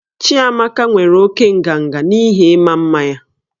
Chiamaka nwere oke nganga n'ihi ịma mma ya